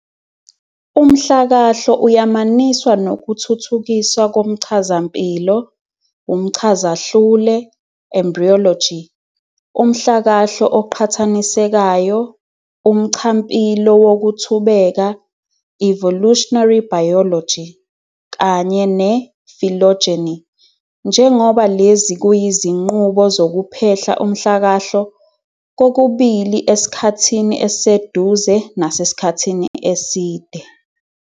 Umhlakahlo uyamaniswa nokuthuthukiswa komchazampilo, umchazahlule "embryology", umhlakahlo oqhathanisekayo, umchampilo wokuthubeka "evolutionary biology", kanye phylogeny, njengoba lezi kuyizinqubo zokuphehla umhlakahlo, kokubili esikhathini esiseduze nasasikhathini eside.